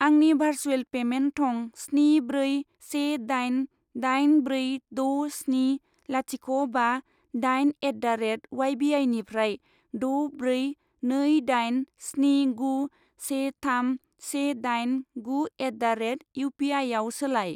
आंनि भारसुएल पेमेन्ट थं स्नि ब्रै से दाइन दाइन ब्रै द' स्नि लाथिख' बा दाइन एट दा रेट उवाइ बि आइनिफ्राय द' ब्रै नै दाइन स्नि गु से थाम से दाइन गु एट दा रेट इउ पि आइआव सोलाय।